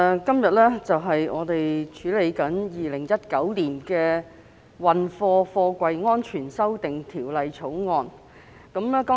代理主席，本會今天處理《2019年運貨貨櫃條例草案》。